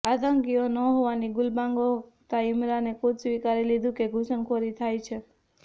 આતંકીઓ ન હોવાની ગુલબાંગો હાકતા ઈમરાને ખૂદ સ્વીકારી લીધું કે ઘુસણખોરી થાય છે